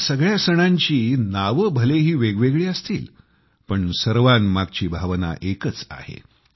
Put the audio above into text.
ह्या सगळ्या सणांची नवे भलेही वेगवेगळी असतील पण सर्वांमागची भावना एकाच आहे